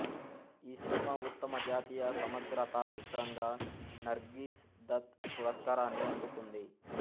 ఈ సినిమా ఉత్తమ జాతీయ సమగ్రతా చిత్రంగా నర్గీస్ దత్ పురస్కారాన్ని అందుకుంది